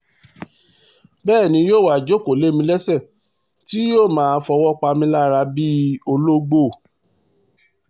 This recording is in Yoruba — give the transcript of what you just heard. bẹ́ẹ̀ ni yóò wáá jókòó lé mi lẹ́sẹ̀ tí yóò máa fọwọ́ pa mí lára bíi ológbò